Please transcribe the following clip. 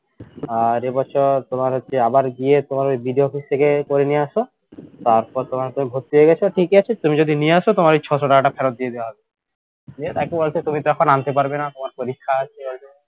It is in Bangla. আর এ বছর তোমার হচ্ছে আবার ইয়ে তোমার ওই BDOoffice থেকে করে নিয়ে আসো তারপর তোমার ভর্তি হয়ে গেছো ঠিকই আছে তুমি যদি নিয়ে আসো তোমার ওই ছশো টাকাটা ফেরত দিয়ে দেয়া হবে গিয়ে দেখো বলছে তুমি তো এখন আনতে পারবে না তোমার পরীক্ষা আছে